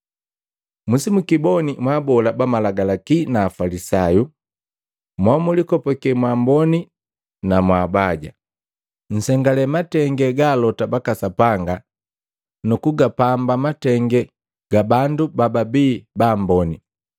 “Musimukiboni mwaabola ba Malagalaki na Afalisayu momlikopake mwaamboni na mwaabaja! Nzengale matenge ga alota baka Sapanga nu kugapamba matenge ga bandu bababi baamboni.